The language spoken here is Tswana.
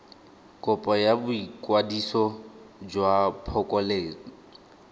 kopo ya boikwadiso jwa phokoletso